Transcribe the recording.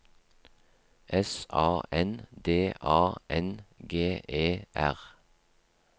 S A N D A N G E R